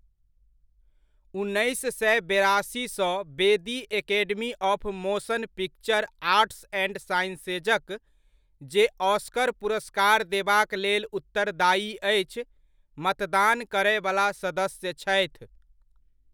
उन्नैस सय बेरासी सँ बेदी academy of motion picture arts and साइंसेजक, जे ऑस्कर पुरस्कार देबाक लेल उत्तरदायी अछि, मतदान करयवला सदस्य छथि।